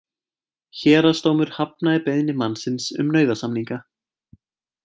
Héraðsdómur hafnaði beiðni mannsins um nauðasamninga